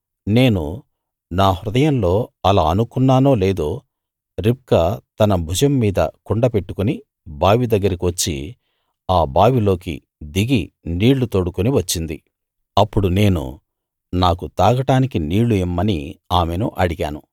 నేను నా హృదయంలో అలా అనుకున్నానో లేదో రిబ్కా తన భుజం మీద కుండ పెట్టుకుని బావి దగ్గరికి వచ్చి ఆ బావి లోకి దిగి నీళ్ళు తోడుకుని వచ్చింది అప్పుడు నేను నాకు తాగడానికి నీళ్ళు ఇమ్మని ఆమెను అడిగాను